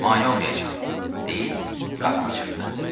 Mane olmayacam, deyib qapını çırpdı.